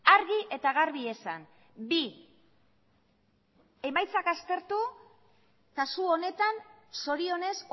argi eta garbi esan bi emaitzak aztertu kasu honetan zorionez